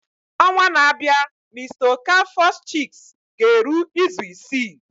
Ọnwa na-abịa mr okafors chicks ga-eru izu isii.